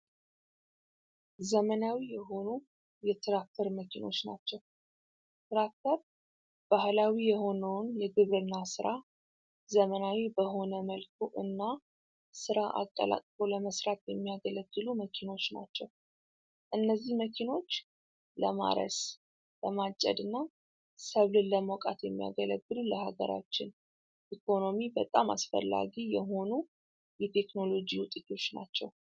ዘመናዊ የሆኑ የትራክተር መኪኖች ናቸው። ትራክተር ባህላዊ የሆነውን የግብርና ስራ ዘመናዊ በሆነ መልኩ እና ስራ አቀላጥፎ ለመስራት የሚያገለግሉ መኪኖች ናቸው። እነዚህ መኪኖች ለማረስ፣ ለማጨድ እና ሰብልን ለመውቃት የሚያገለግሉ ለሀገራችን ኢኮኖሚ በጣም አስፈላጊ የሆኑ የቴክኖሎጂ ውጤቶች ናቸው።